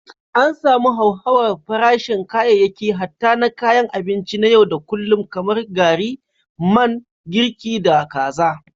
An samu hauhawar farashin kayayyaki hatta na kayan abinci na yau da kullun kamar gari, man girki, da kaza.